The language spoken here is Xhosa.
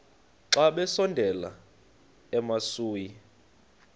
xa besondela emasuie